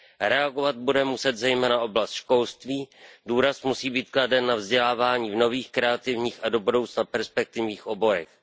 Reagovat bude muset zejména oblast školství, důraz musí být kladen na vzdělávání v nových, kreativních a do budoucna perspektivních oborech.